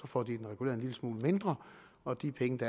får de den reguleret en lille smule mindre og de penge det